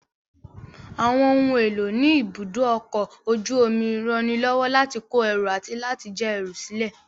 Àwọn ohun èlò ní ibùdó ọkọ̀ ojú omi ranilọ́wọ́ láti kó ẹrù àti láti já ẹrù sílè